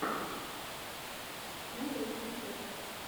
нарой концерты